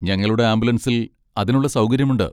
ഞങ്ങളുടെ ആംബുലൻസിൽ അതിനുള്ള സൗകര്യമുണ്ട്.